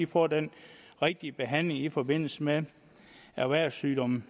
får den rigtige behandling i forbindelse med erhvervssygdomme